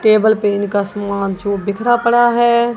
Table पे इनका सामान जो बिखरा पड़ा है।